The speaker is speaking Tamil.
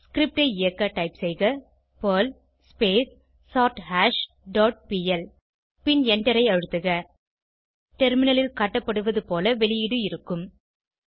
ஸ்கிரிப்ட் ஐ இயக்க டைப் செய்க பெர்ல் சோர்தாஷ் டாட் பிஎல் பின் எண்டரை அழுத்துக டெர்மினலில் காட்டப்படுவதுபோல வெளியீடு இருக்கும்